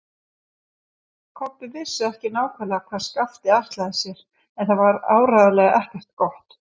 Kobbi vissi ekki nákvæmlega hvað Skapti ætlaði sér, en það var áreiðanlega ekkert gott.